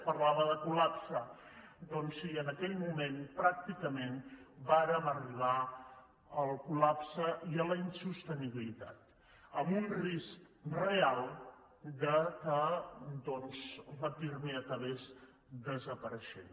parlava de col·doncs sí en aquell moment pràcticament vàrem arribar al col·lapse i a la insostenibilitat amb un risc real que el pirmi acabés desapareixent